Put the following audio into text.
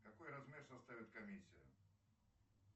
какой размер составит комиссия